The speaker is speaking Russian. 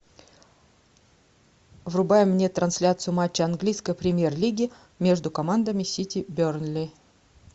врубай мне трансляцию матча английской премьер лиги между командами сити бернли